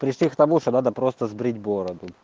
пришли к тому что надо просто сбрить бороду